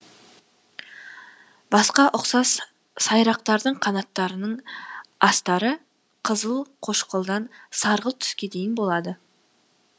басқа ұқсас сайрақтардың қанаттарының астары қызыл қошқылдан сарғылт түске дейін болады